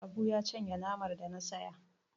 Habu ya cinye namar da na saya.